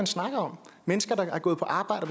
snakker om mennesker der har gået på arbejde